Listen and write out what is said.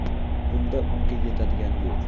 Bunda unga yetadigani yo‘q.